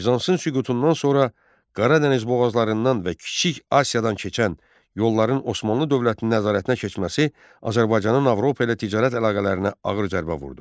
Bizansın süqutundan sonra Qara Dəniz boğazlarından və Kiçik Asiyadan keçən yolların Osmanlı dövlətinin nəzarətinə keçməsi Azərbaycanın Avropa ilə ticarət əlaqələrinə ağır zərbə vurdu.